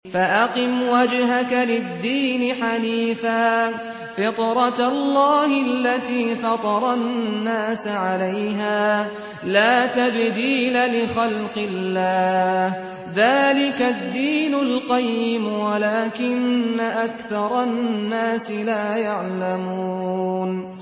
فَأَقِمْ وَجْهَكَ لِلدِّينِ حَنِيفًا ۚ فِطْرَتَ اللَّهِ الَّتِي فَطَرَ النَّاسَ عَلَيْهَا ۚ لَا تَبْدِيلَ لِخَلْقِ اللَّهِ ۚ ذَٰلِكَ الدِّينُ الْقَيِّمُ وَلَٰكِنَّ أَكْثَرَ النَّاسِ لَا يَعْلَمُونَ